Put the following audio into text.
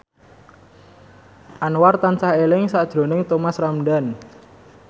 Anwar tansah eling sakjroning Thomas Ramdhan